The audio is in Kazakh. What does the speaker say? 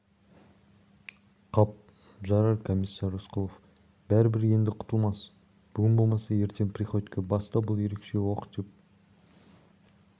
қап жарар комиссар рысқұлов бәрібір енді құтылмас бүгін болмаса ертең приходько баста бұл ерекше оқ деп